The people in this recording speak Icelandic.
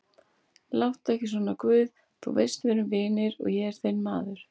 Láttu ekki svona guð, þú veist að við erum vinir, ég er þinn maður.